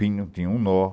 Pinho tinha um nó.